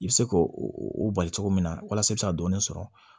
I bɛ se k'o o bali cogo min na walasa i bɛ se ka dɔɔnin sɔrɔ